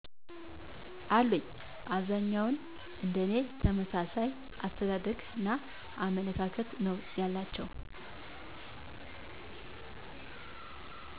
አሉኝ። አብዛኛዉን እንደኔ ተመሣሣይ አሰተዳደግና አመለካከት ነው ያላቸዉ